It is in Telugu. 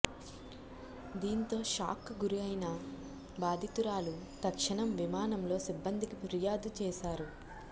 దీంతో షాక్కు గురైన బాధితురాలు తక్షణం విమానంలో సిబ్బందికి ఫిర్యాదు చేశారు